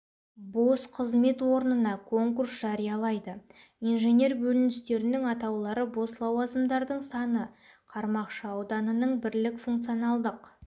бос қызмет орнына конкурс жариялайды инженер бөліністерінің атаулары бос лауазымдардың саны қармақшы ауданының бірлік функционалдық